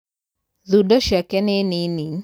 Thundo ciake nĩnini.